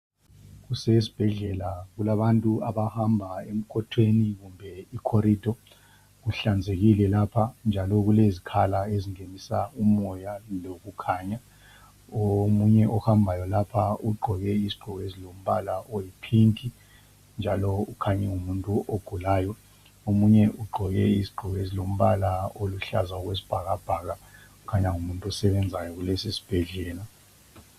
Kusesibhedlela, kukabantu abahamba ,emkotweni kumbe ikhorido. Kuhlanzekile lapha, njalo kulezikhala ezingenisa umoya lokukhanya. Omunye ohambayo lapha, ugqoke izigqoko, ezilombala oyipink, njalo ukhanya ngumuntu ogulayo. Omunye ugqoke izigqoko ezilombala oluhlaza okwesibhakabhaka. Kukhanya ngumuntu osebenzayo, kulesisibhedlela.